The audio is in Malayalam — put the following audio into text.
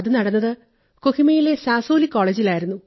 അത് നടന്നത് കൊഹിമയിലെ സാസോലീ കോളജിലായിരുന്നു